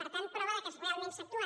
per tant prova que realment s’actua